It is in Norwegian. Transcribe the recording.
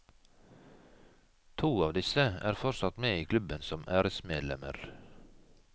To av disse er fortsatt med i klubben som æresmedlemmer.